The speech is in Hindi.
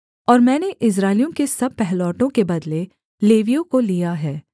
और मैंने इस्राएलियों के सब पहिलौठों के बदले लेवियों को लिया है